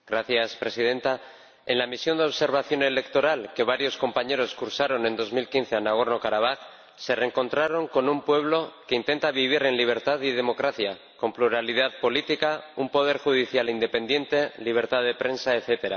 Señora Presidenta, en la misión de observación electoral que varios compañeros realizaron en 2015 a Nagorno-Karabaj se reencontraron con un pueblo que intenta vivir en libertad y democracia, con pluralidad política, un poder judicial independiente, libertad de prensa, etc.